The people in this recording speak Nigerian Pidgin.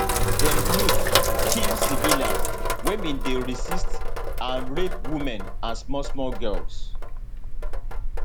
dem loot kill civilians wey bin dey resist and rape women and smallsmall girls